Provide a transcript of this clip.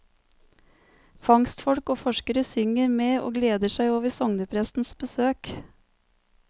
Fangstfolk og forskere synger med og gleder seg over sogneprestens besøk.